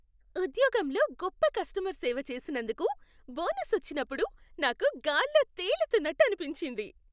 ఉద్యోగంలో గొప్ప కస్టమర్ సేవ చేసినందుకు బోనస్ వచ్చినప్పుడు నాకు గాల్లో తేలుతున్నట్టు అనిపించింది.